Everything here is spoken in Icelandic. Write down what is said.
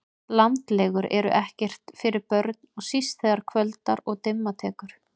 Landlegur eru ekkert fyrir börn og síst þegar kvöldar og dimma tekur